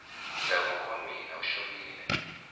ndhavuko wa mina wu xongile